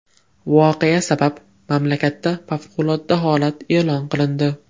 Voqea sabab mamlakatda favqulodda holat e’lon qilindi.